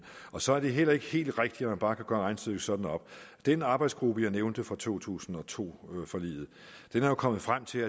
og så er det heller ikke helt rigtigt at man bare kan gøre regnestykket sådan op den arbejdsgruppe jeg nævnte fra to tusind og to forliget er jo kommet frem til